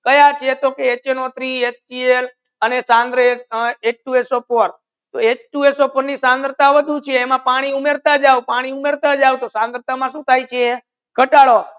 કાયા છે તો કે HNO Three HCl H Two SO Four માં થંગરાતા વધુ છે પાની ઉમર્તા જાવ પાની ઉમર્તા જાઓ તો થનગ્રાતા મા સુ થાય છે ગતાડો